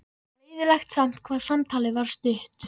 Leiðinlegt samt hvað samtalið var stutt.